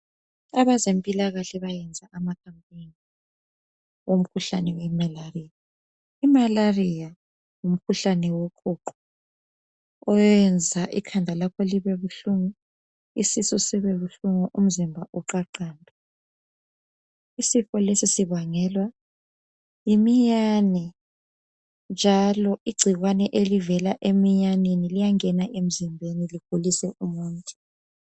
abezempilakahle bayayenza ama campaign omkhuhlane we malaria i malaria ngumkhuhlane woqhuqho uyayenza ikhanda lakho libe buhlungu isisu sibe buhlungu umzimba uqhaqhambe isifo lesi sibangelwa yi miyane njalo igcikwane elivela emiyaneni liyangena emzimbeni ligulise umuntu